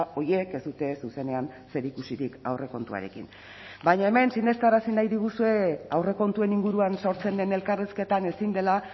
horiek ez dute zuzenean zerikusirik aurrekontuarekin baina hemen sinestarazi nahi diguzue aurrekontuen inguruan sortzen den elkarrizketan ezin dela